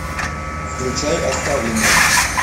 включай оставленные